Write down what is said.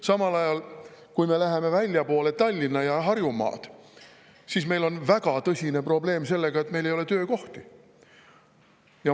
Samal ajal, kui me läheme väljapoole Tallinna ja Harjumaad, siis meil on väga tõsine probleem sellega, et meil ei ole töökohti.